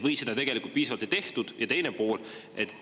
Või seda tegelikult piisavalt ei tehtud?